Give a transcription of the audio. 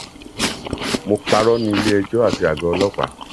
mo parọ ní iléẹjọ àti àgọ ọlọpàá